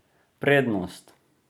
Prednost!